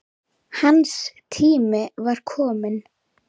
Hans tími var kominn.